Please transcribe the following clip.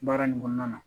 Baara nin kɔnɔna na